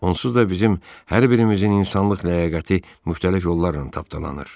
Onsuz da bizim hər birimizin insanlıq ləyaqəti müxtəlif yollarla tapdalanır.